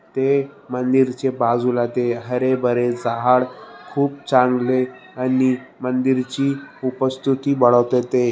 ते मंदिरचे बाजूला ते हरे भरे झाड खूप चांगले आणि मंदिर ची उपस्तुती वाढवत ते --